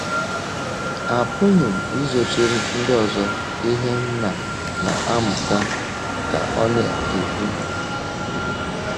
“ Apụghị m izochiri ndị ọzọ ihe m na na - amụta, ” ka ọ na - ekwu.